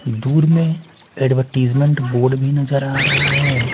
दूर में advertisement board भी नजर आ रहा हैं ।